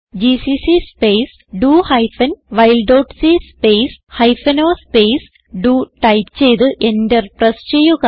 GCC space do hyphen while dot c space hyphen o space do type ചെയ്ത് enter press ചെയ്യുക